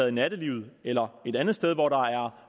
i nattelivet eller et andet sted hvor der